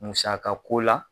Musaka ko la,